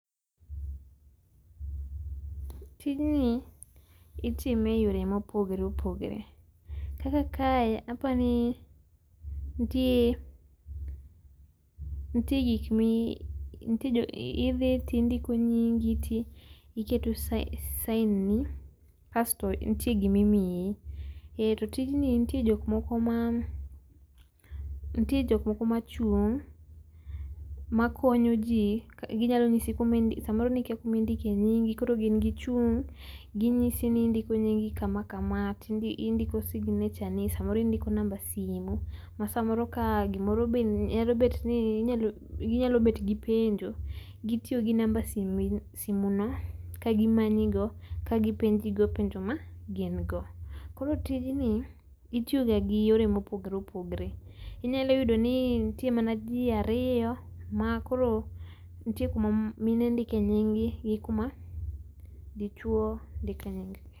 Tijni itime e yore ma opogore opogore. Kaka kae apani nitie gik mi idhi to indiko nyingi to iketo sign ni kasto nitie gimi imiyi . To tijni nitie jok moko, nitie jok moko ma chung' ma konyo jii, gi nyalo ng'isi sa moro ni kia ku ma indike nyingi koro gin gi chung' gi ng'isi ni indiko nyingi kama kama to indiko signature samoro indiko namba simo ma samoro ka gi moro be nyalo bet gi nyalo bet gi penjo gitiyo gi namba simo no ka gimanyi go ka gi penji go penjo ma gin go. Koro tij ni itiyo ga gi yore ma opogore opogore. Inyalo yudo ni nitie mana jii ariyo ma koro nitie kuma mine ndike nying gi, gi kuma dichuo ndike nying gi.